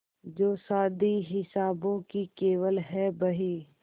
जो शादी हिसाबों की केवल है बही